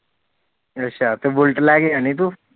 ਅੱਛਾ ਤੇ ਬੁਲਟ ਲੇਕੇ ਜਾਂਦੀ ਤੂੰ